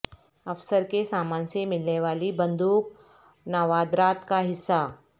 افسر کے سامان سے ملنے والی بندوق نوادرات کا حصہ